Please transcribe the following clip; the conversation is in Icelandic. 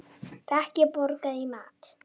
Fékk borgað í mat.